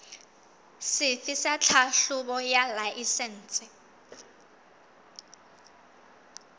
sefe sa tlhahlobo ya laesense